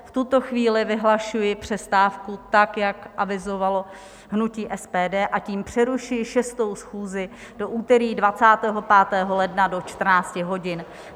V tuto chvíli vyhlašuji přestávku, tak jak avizovalo hnutí SPD, a tím přerušuji 6. schůzi do úterý 25. ledna do 14 hodin.